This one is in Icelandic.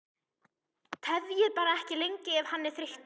Tefjið bara ekki lengi ef hann er þreyttur